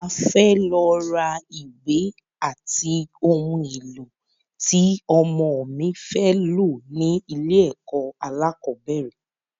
A fẹ lọ rà ìwé ati oun èlò ti ọmọ mi fé lò ní ilẹ̀ ẹkọ̀ alákọ̀bẹ́rẹ̀.